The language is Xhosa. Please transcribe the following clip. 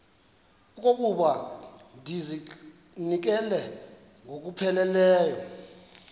okokuba ndizinikele ngokupheleleyo